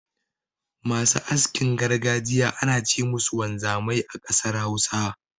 Masu askin gargajiya ana ce musu wanzamai a ƙasar Hausa.